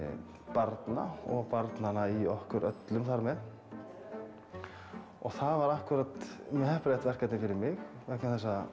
barna og barnanna í okkur öllum þar með og það var mjög heppilegt verkefni fyrir mig vegna þess að